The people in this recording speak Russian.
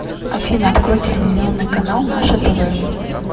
афина открой телевизионный канал наше тв